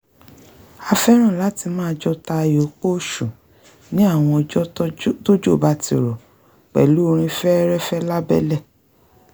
a fẹ́ràn láti máa jọ ta ayò pọ́sù ní àwọn ọjọ́ tójò bá ti rọ̀ pẹ̀lú orin fẹ́ẹ́rẹ́fẹ́ lábẹ́lẹ̀